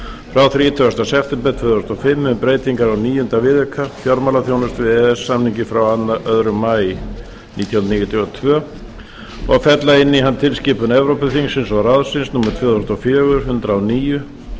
frá þrítugasta september tvö þúsund og fimm um breytingu á níunda viðauka við e e s samninginn frá öðrum maí nítján hundruð níutíu og tvö og fella inn í hann tilskipun evrópuþingsins og ráðsins tvö þúsund og fjögur hundrað og níu